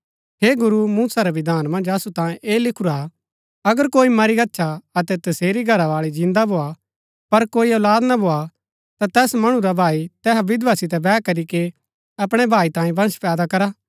हे गुरू मूसा रै विधान मन्ज असु तांयें ऐह लिखुरा अगर कोई मरी गच्छा अतै तसेरी घरावाळी जिन्दा भोआ पर कोई औलाद ना भोआ ता तैस मणु रा भाई तैहा विधवा सितै वैह करीके अपणै भाई तांयें वंश पैदा करा